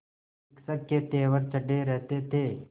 शिक्षक के तेवर चढ़े रहते थे